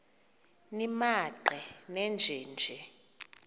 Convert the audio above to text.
nimaqe nenje nje